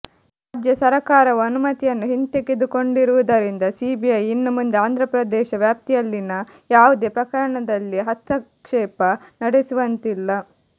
ರಾಜ್ಯ ಸರಕಾರವು ಅನುಮತಿಯನ್ನು ಹಿಂದೆಗೆದುಕೊಂಡಿರುವುದರಿಂದ ಸಿಬಿಐ ಇನ್ನು ಮುಂದೆ ಆಂಧ್ರಪ್ರದೇಶ ವ್ಯಾಪ್ತಿಯಲ್ಲಿನ ಯಾವುದೇ ಪ್ರಕರಣದಲ್ಲಿ ಹಸ್ತಕ್ಷೇಪ ನಡೆಸುವಂತಿಲ್ಲ